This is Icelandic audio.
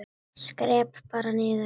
Skrepp bara niður.